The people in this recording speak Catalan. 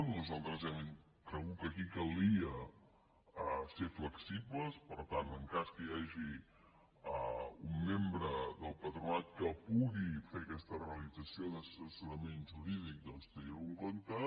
nosaltres hem cregut que aquí calia ser flexibles per tant en cas que hi hagi un membre del patronat que pugui fer aquesta realització d’assessorament jurídic doncs tenir·ho en compte